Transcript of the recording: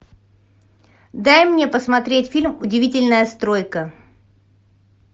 дай мне посмотреть фильм удивительная стройка